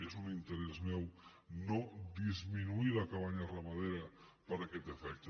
és un interès meu no disminuir la cabanya ramadera per aquest efecte